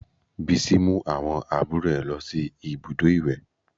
Bísí mú àwọn àbúrò rẹ̀ lọ sí ibùdó ìwẹ̀